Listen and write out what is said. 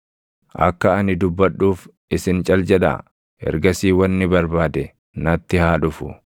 “Akka ani dubbadhuuf isin cal jedhaa; ergasii wanni barbaade natti haa dhufu.